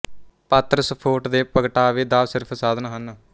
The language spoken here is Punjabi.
ਪਾਤਰ ਸਫੋਟ ਦੇ ਪਗਟਾਵੇ ਦਾ ਸਿਰਫ਼ ਸਾਧਨ ਹਨ